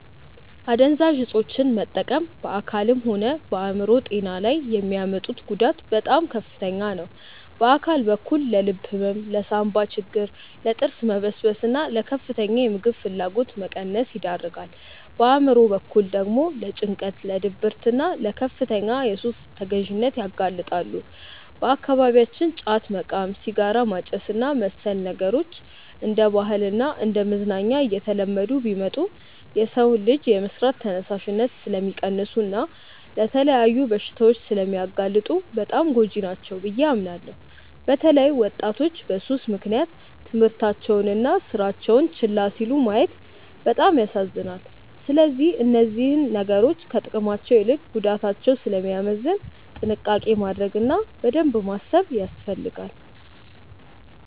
አደንዛዥ እፆችን መጠቀም በአካልም ሆነ በአእምሮ ጤና ላይ የሚያመጡት ጉዳት በጣም ከፍተኛ ነው። በአካል በኩል ለልብ ህመም፣ ለሳንባ ችግር፣ ለጥርስ መበስበስና ለከፍተኛ የምግብ ፍላጎት መቀነስ ይዳርጋል። በአእምሮ በኩል ደግሞ ለጭንቀት፣ ለድብርትና ለከፍተኛ የሱስ ተገዢነት ያጋልጣሉ። በአካባቢያችን ጫት መቃም፣ ሲጋራ ማጨስና መሰል ነገሮች እንደ ባህልና እንደ መዝናኛ እየተለመዱ ቢመጡም፣ የሰውን ልጅ የመስራት ተነሳሽነት ስለሚቀንሱና ለተለያዩ በሽታዎች ስለሚያጋልጡ በጣም ጎጂ ናቸው ብዬ አምናለሁ። በተለይ ወጣቶች በሱስ ምክንያት ትምህርታቸውንና ስራቸውን ችላ ሲሉ ማየት በጣም ያሳዝናል። ስለዚህ እነዚህ ነገሮች ከጥቅማቸው ይልቅ ጉዳታቸው ስለሚያመዝን ጥንቃቄ ማድረግ እና በደንብ ማሰብ ያስፈልጋል።